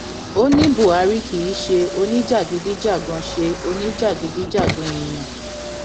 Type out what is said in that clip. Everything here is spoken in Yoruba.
ó ní buhari kì í ṣe oníjàgídíjàgan ṣe oníjàgídíjàgan èèyàn